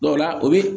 Dɔw la o bi